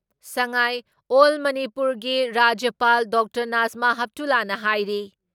ꯁꯉꯥꯥꯏ ꯑꯣꯜ ꯃꯅꯤꯄꯨꯔꯒꯤ ꯔꯥꯖ꯭ꯌꯄꯥꯜ ꯗꯣꯛꯇꯔ ꯅꯥꯖꯃꯥ ꯍꯦꯞꯇꯨꯂꯥꯅ ꯍꯥꯏꯔꯤ